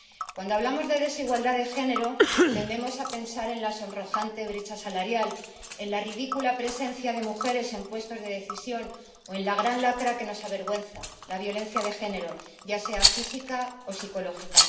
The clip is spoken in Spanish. Cuando hablamos de desigualdad de género, tendemos a pensar en la sonrojante brecha salarial, en la ridícula presencia de mujeres en puestos de decisión o en la gran lacra que nos avergüenza la violencia de género, ya sea física o psicológica.